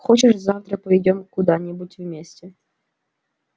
хочешь завтра пойдём куда-нибудь вместе